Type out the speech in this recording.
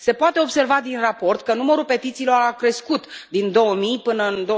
Se poate observa din raport că numărul petițiilor a crescut din 2000 până în